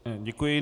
Děkuji.